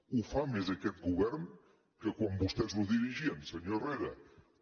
ho fa més aquest govern que quan vostès el dirigien senyor herrera